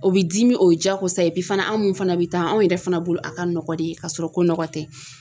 O bi dimi o ye diyagosa ye bi fana anw fana bɛ taa anw yɛrɛ fana bolo a ka nɔgɔ de ka sɔrɔ ko nɔgɔ tɛ.